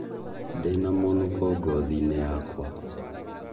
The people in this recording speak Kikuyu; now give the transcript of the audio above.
Ndĩna mũnũko ngothinĩ yakwa